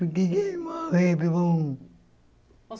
Porque é que ele morreu.